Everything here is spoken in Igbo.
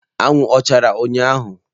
Anwụ ọ chara ụnyahụ?